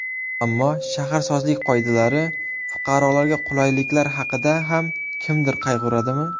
Ammo shaharsozlik qoidalari, fuqarolarga qulayliklar haqida ham kimdir qayg‘uradimi?